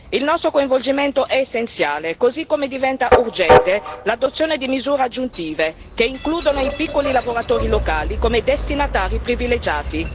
Il nostro coinvolgimento è essenziale, così come diventa urgente l'adozione di misure aggiuntive, che includano i piccoli lavoratori locali come destinatari privilegiati.